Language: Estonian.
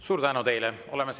Suur tänu teile!